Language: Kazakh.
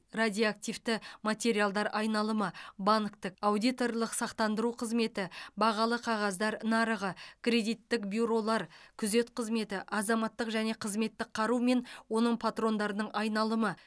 радиоактивті материалдар айналымы банктік аудиторлық сақтандыру қызметі бағалы қағаздар нарығы кредиттік бюролар күзет қызметі азаматтық және қызметтік қару мен оның патрондарының айналымы